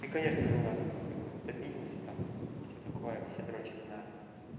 и конечно же у нас это стабильность там всё такое все дрочат на